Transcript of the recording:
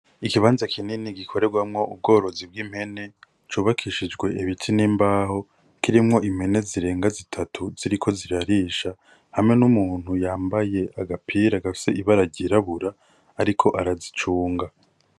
Ikibanza kinini gikoregwamwo ubworozi bw'impene, cubakishijwe ibiti n'imbaho kirimwo impene zirenga zitatu ziriko zirarisha hamwe n'umuntu yambaye agapira gafise ibara ry'irabura ariko arazicunga.